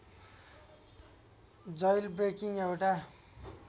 jailbreaking एउटा